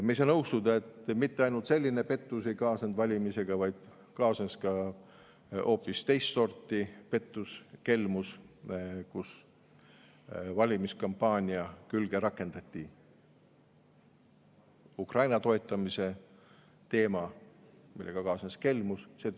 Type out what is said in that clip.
Me ei saa nõustuda sellega, et valimistega ei kaasnenud mitte ainult selline pettus, vaid kaasnes ka hoopis teist sorti pettus, kelmus – valimiskampaania külge rakendati Ukraina toetamise teema, millega kaasnes kelmus.